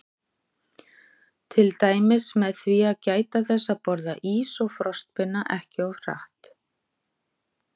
Til dæmis með því að gæta þess að borða ís og frostpinna ekki of hratt.